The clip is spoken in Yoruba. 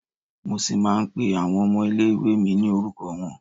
Mo ṣì máa ń pé àwọn ọmọ ilé ìwée mi ní orúkọ wọn.